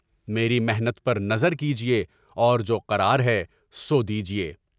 میری محنت پر نظر کیجیے اور جو قرار ہے، سو دیجیے۔